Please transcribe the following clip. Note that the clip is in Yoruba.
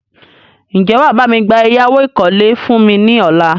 Ń jẹ́ wàá bami gba ẹ̀yáwó ìkọ́lé fún mi ní ọ̀la?